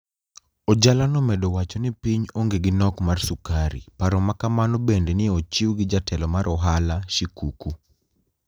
Ojala nomedo wacho nii piniy onige gi nok mar sukari , paro ma kamano benide ni e ochiw gi jatelo ,mar ohala shikuku.